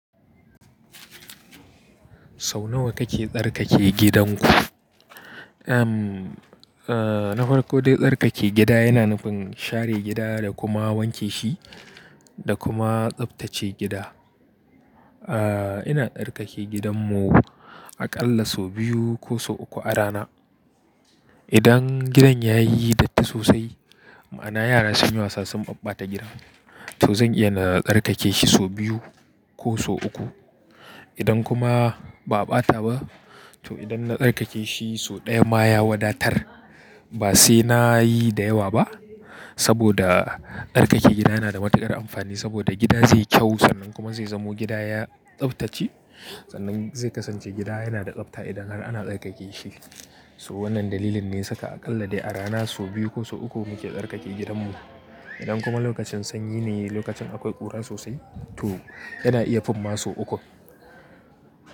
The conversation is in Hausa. Sau nawa kake tsarkake gidanku? Eh, nafarko dai tsarkake gida yana nufin share gida da kuma wanke shi da kuma tsaftace gida. Ina tsarkake gidanmu aƙalla sau biyu ko sau uku a rana. Idan gidan ya yi datti sosai, ma'ana yara sun yi wasa sun ɓaɓɓata gidan, to zan iya na tsarkake shi sau biyu ko sau uku. Idan kuma ba a ɓata ba, to idan na tsarkake shi sau ɗaya ma ya wadatar. Ba sai na yi da yawa ba saboda tsarkake gida yana da matuƙar amfani saboda gida zai kyau sannan kuma zai zamo gida ya tsaftace. Sannan zai kasance gida yana da tsabta idan har ana tsarkake shi. So wannan dalilin ne saka aƙalla dai a rana sau biyu ko sau uku muke tsarkake gidanmu. Idan kuma lokacin sanyi ne lokacin akwai ƙura sosai, to yana iya fin ma sau uku.